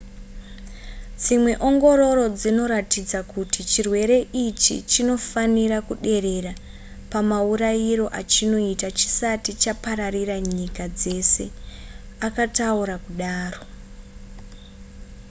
dzimwe ongororo dzinoratidza kuti chirwere ichi chinofanira kuderera pamaurayiro achinoita chisati chapararira nyika dzese akataura kudaro